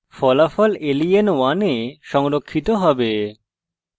ফলাফল len1 এ সংরক্ষিত হবে